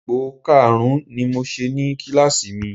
Ipò karùn-ún ni mo ṣe ní kíláàsì mi